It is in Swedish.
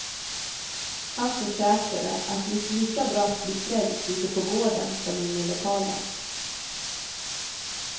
Han försäkrade, att det gick lika bra att bli frälst ute på gården som inne i lokalen.